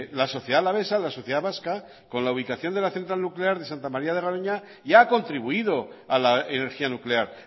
la sociedad alavesa la sociedad vasca con la ubicación de la central nuclear de santa maría de garoña ya ha contribuido a la energía nuclear